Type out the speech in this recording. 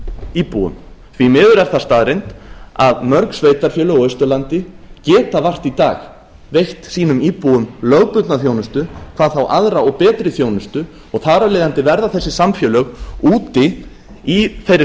íbúum því miður er það staðreynd að mörg sveitarfélög á austurlandi geta vart í dag veitt sínum íbúum lögbundna þjónustu hvað þá aðra og betri þjónustu og þar af leiðandi verða þessi samfélög úti í þeirri